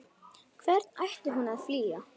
Hvern ætti hún að flýja?